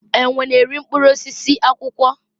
enwe na-eri mkpụrụ osisi, akwụkwọ